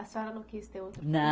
A senhora não quis ter outro filho?